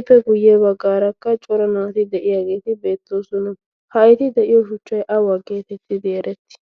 ippe guyye baggaarakka cora naati de'iyaageeti beettoosona. ha eti de'iyo shuchchay awa geetettidi erettii?